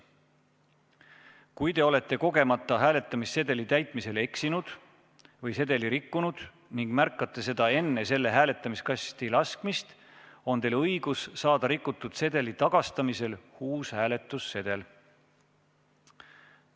Kui te olete kogemata hääletamissedeli täitmisel eksinud või sedeli rikkunud ning märkate seda enne selle hääletamiskasti laskmist, on teil õigus saada rikutud sedeli tagastamise korral uus hääletamissedel.